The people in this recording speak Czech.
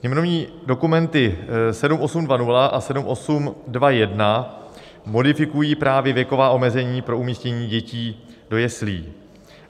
Sněmovní dokumenty 7820 a 7821 modifikují právě věková omezení pro umístění dětí do jeslí.